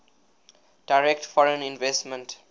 direct foreign investment